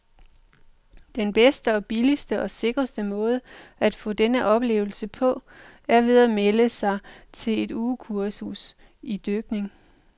Den bedste og billigste og sikreste måde at få denne oplevelse på, er ved at melde sig til et ugekursus idykning.